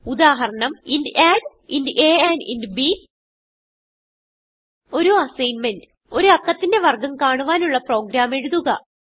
ഉദാഹരണം int add ഒരു assignment ഒരു അക്കത്തിന്റെ വർഗം കാണുവാനുള്ള പ്രോഗ്രാം എഴുതുക